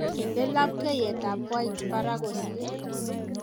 inde labkeiyet ab wait barak kosir